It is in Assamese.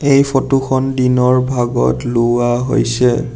এই ফটোখন দিনৰ ভাগত লোৱা হৈছে।